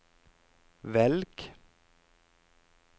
velg